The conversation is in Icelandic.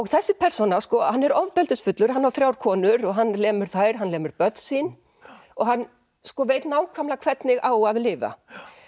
þessi persóna hann er ofbeldisfullur hann á þrjár konur og hann lemur þær hann lemur börn sín og hann veit nákvæmlega hvernig á að lifa